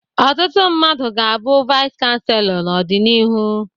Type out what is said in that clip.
Ọtụtụ mmadụ ga-abụ Vice chansellor n'ọdịnihu.